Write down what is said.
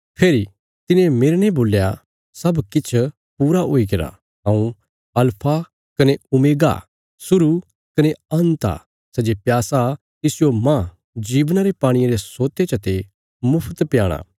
फेरी तिने मेरने बोल्या सब किछ पूरा हुईगरा हऊँ अल्फा कने ओमेगा शुरु कने अन्त आ सै जे प्यासा तिसजो मांह जीवना रे पाणिये रे सोते चते मुफ्त प्याणा